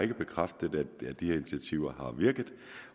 ikke bekræftet at de initiativer har virket